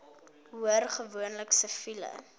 hoor gewoonlik siviele